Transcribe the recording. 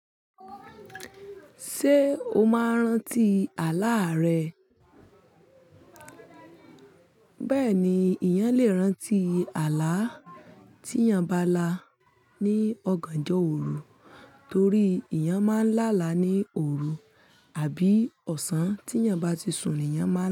Ṣé o máa ń rántí àlá rẹ? Bẹ́ẹ̀ni, eeyàn lè rántí àlá tí eeyàn bá la ní ọ̀gànjọ́ òru torí eeyàn máa ń lá àlá ní òru àbí ọ̀sán tí eeyàn bá ti sùn ni eeyàn máa lá.